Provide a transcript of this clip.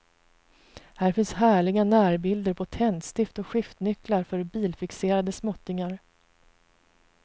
Här finns härliga närbilder på tändstift och skiftnycklar för bilfixerade småttingar.